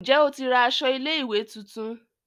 Njé o tí ra aṣọ ilé ìwé títún?